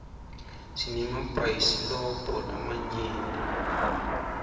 sinemabhayisilobho lamanyenti